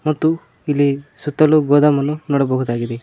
ಮತ್ತು ಇಲ್ಲಿ ಸುತ್ತಲೂ ಗೋದಮನ್ನು ನೋಡಬಹುದಾಗಿದೆ.